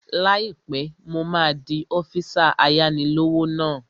Láìpẹ́, mo máa di ọ́físà ayáni-lówó náà